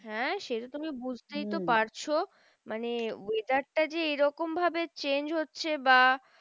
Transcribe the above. হ্যাঁ সেটা তো তুমি বুজতেই তো পারছো। মানে weather টা যে এরকম ভাবে change হচ্ছে বা